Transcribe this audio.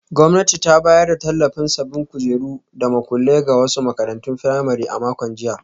Gwamnati ta bayar da tallafin sabbin kujeru da makullai ga wasu makarantun firamare a makon jiya.